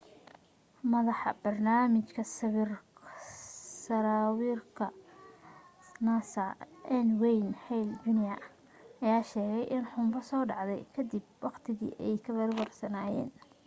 madaxa barnaamijka sawaariikhda nasa n wayne hale jr ayaa sheegay in xunbadu soo dhacday ka dib waqtigii ay ka warwarsanaayeen